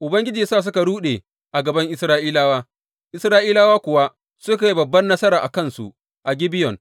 Ubangiji ya sa suka ruɗe a gaban Isra’ilawa, Isra’ilawa kuwa suka yi babbar nasara a kansu a Gibeyon.